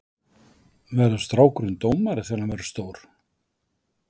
Verður strákurinn dómari þegar hann verður stór?